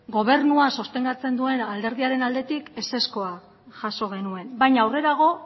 gobernua sostengatzen duen alderdiaren aldetik ezezkoa jaso genuen baina aurrerago